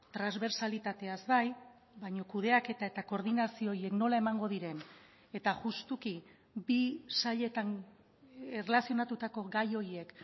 transbertsalitateaz bai baina kudeaketa eta koordinazio horiek nola emango diren eta justuki bi sailetan erlazionatutako gai horiek